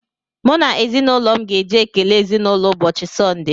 M na ezinụlọ m ga-eje ekele ezinụlọ ụbọchị sonde.